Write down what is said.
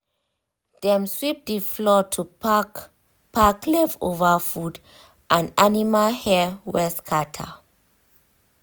dem sweep the floor to pack pack leftover food and animal hair wey scatter.